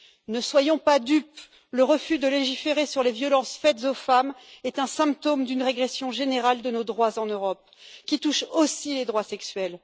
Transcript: Ne soyons pas dupes le refus de légiférer sur les violences faites aux femmes est un symptôme d'une régression générale de nos droits en Europe qui touche aussi les droits sexuels.